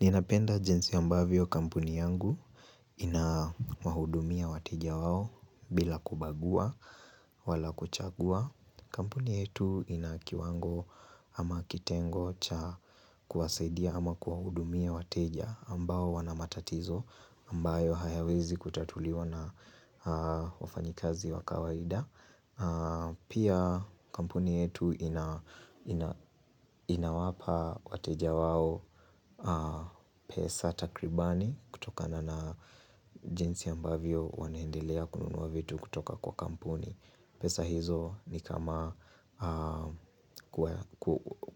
Ninapenda jinsi ambavyo kampuni yangu ina wahudumia wateja wao bila kubagua, wala kuchagua. Kampuni yetu inakiwango ama kitengo cha kuwasaidia ama kuwahudumia wateja ambao wanamatatizo ambayo hayawezi kutatuliwa na wafanyikazi wakawaida. Pia kampuni yetu inawapa wateja wao pesa takribani kutoka na na jinsi ambavyo wanaendelea kununua vitu kutoka kwa kampuni pesa hizo ni kama